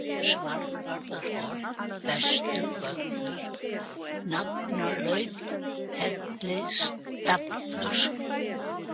Svarðarholt, Vesturvöllur, Nafarlaut, Hellisstallur